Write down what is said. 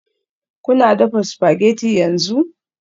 Kuna dafa spaghetti yanzu?